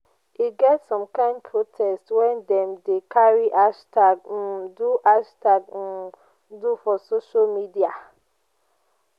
e get some kind protest wey dem dey carry hashtag um do hashtag um do for social media.